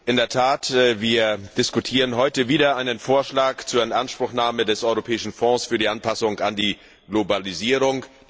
In der Tat, wir diskutieren heute wieder einen Vorschlag zur Inanspruchnahme des Europäischen Fonds für die Anpassung an die Globalisierung.